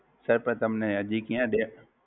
Sir પણ હજી ક્યાં